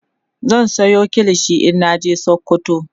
zan Sayo kilishi in naje sokoto